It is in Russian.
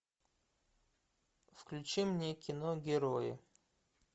включи мне кино герои